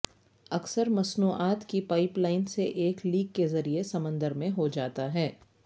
اکثر مصنوعات کی پائپ لائن سے ایک لیک کے ذریعے سمندر میں ہو جاتا ہے